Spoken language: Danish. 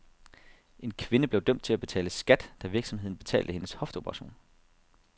En kvinde blev dømt til at betale skat, da virksomheden betalte hendes hofteoperation.